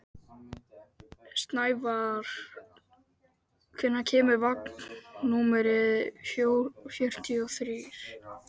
Snævarr, hvenær kemur vagn númer fjörutíu og þrjú?